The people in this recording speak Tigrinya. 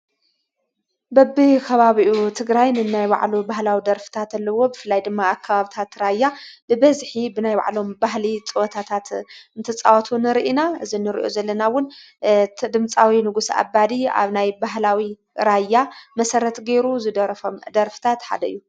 በቢ ኻባብኡ ትግራይኒ እናይ ባዕሉ ባህላዊ ደርፍታ ተለዎ ብፍላይ ድማ ኣካባብታት ተራያ ብበዝኂ ብናይ ባዕሎም ባሕሊ ጸወታታት እምተጽዋቱን ርኢና ዝ ንርዩ ዘለናውን ድምጻዊ ንጉሥ ኣባዲ ኣብ ናይ ባህላዊ ራያ መሠረት ገይሩ ዝደረፎም ደርፍታት ሓደ እዩ።